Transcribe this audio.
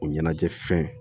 O ɲɛnajɛ fɛn